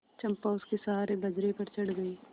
चंपा उसके सहारे बजरे पर चढ़ गई